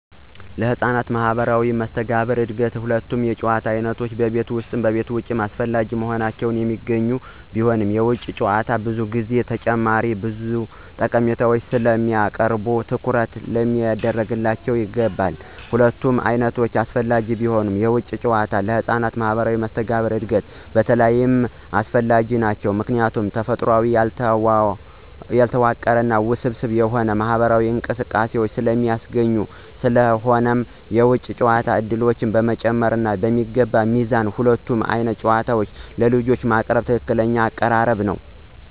ለህፃናት ማህበራዊ መስተጋብር እድገት ሁለቱም የጨዋታ ዓይነቶች (ቤት ውስጥ እና ውጭ) አስፈላጊ ሆነው የሚገኙ ቢሆንም፣ የውጭ ጨዋታዎች ብዙ ጊዜ ተጨማሪ ብዙ ጠቀሜታዎችን ስለሚያቀርቡ ትኩረት ሊደረግባቸው ይገባል። ሁለቱም ዓይነቶች አስፈላጊ ቢሆኑም፣ የውጭ ጨዋታዎች ለህፃናት ማህበራዊ መስተጋብር እድገት በተለይ አስፈላጊ ናቸው ምክንያቱም ተፈጥሯዊ፣ ያልተዋቀረ እና ውስብስብ የሆኑ ማህበራዊ እንቅስቃሴዎችን ስለሚያስገኙ። ስለሆነም የውጭ ጨዋታ ዕድሎችን በመጨመር እና በሚገባ ሚዛን ሁለቱንም ዓይነት ጨዋታዎች ለልጆች ማቅረብ ትክክለኛው አቀራረብ ነው።